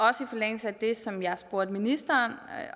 også i forlængelse af det som jeg spurgte ministeren